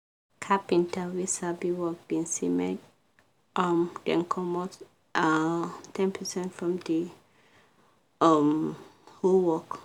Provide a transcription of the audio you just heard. carpenta wey sabi work been say make um dem comot um ten percent from the um whole work